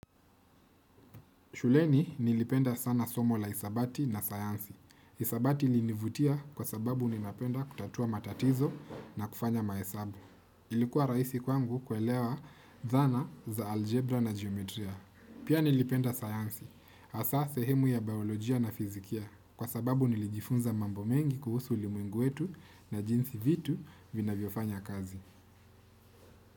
Shuleni nilipenda sana somo la hisabati na sayansi. Isabati ilinivutia kwa sababu ninapenda kutatua matatizo na kufanya maesabu. Ilikuwa rahisi kwangu kuelewa dhana za algebra na geometria. Pia nilipenda sayansi, hasa sehemu ya biolojia na fizikia. Kwa sababu nilijifunza mambo mengi kuhusu ulimwengu wetu na jinsi vitu vinavyofanya kazi.